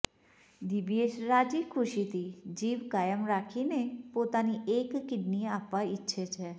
દિવ્યેશ રાજીખુશીથી જીવ કાયમ રાખીને પોતાની એક કીડની આપવા ઈચ્છે છે